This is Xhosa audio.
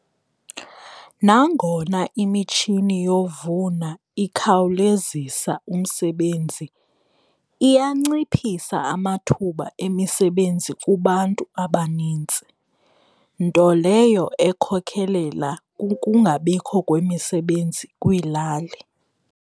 Nangona imitshini yovuna ikhawulezisa umsebenzi, iyanciphisa amathuba emisebenzi kubantu abanintsi nto leyo ekhokhelela ukungabikho kwemisebenzi kwiilali.